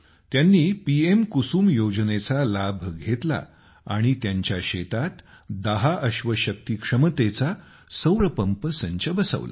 त्यांनी पीएम कुसुम योजनेचा लाभ घेतला आणि त्यांच्या शेतात दहा अश्वशक्ती क्षमतेचा सौर पंप संच बसवला